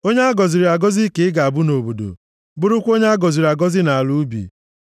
Onye a gọziri agọzi ka ị ga-abụ nʼobodo, bụrụkwa onye a gọziri agọzi nʼala ubi.